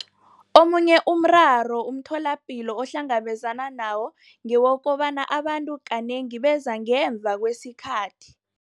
Omunye umraro umtholapilo ohlangabezana nawo ngewokobana abantu kanengi beza ngemva kwesikhathi.